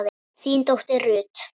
þín dóttir Ruth.